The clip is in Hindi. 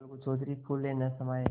अलगू चौधरी फूले न समाये